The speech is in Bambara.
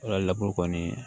Wala kɔni